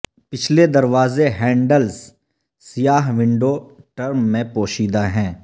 پچھلے دروازے ہینڈلز سیاہ ونڈو ٹرم میں پوشیدہ ہیں